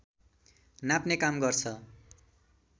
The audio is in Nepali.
नाप्ने काम गर्छ